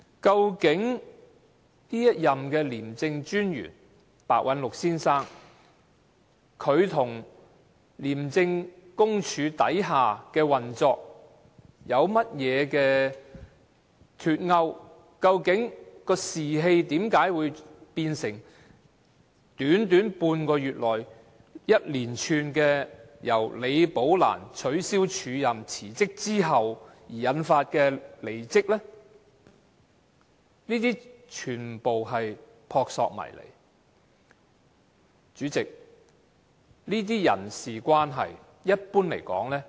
究竟這一任廉政專員白韞六先生跟廉署轄下的運作有否脫鈎，為何會在短短半個月內，由李寶蘭被取消署任、提出辭職之後，引發連串離職事件呢？